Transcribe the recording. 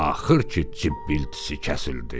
Axır ki, cib-cibiltisi kəsildi.